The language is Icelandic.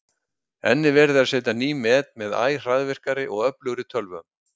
Enn er verið að setja ný met með æ hraðvirkari og öflugri tölvum.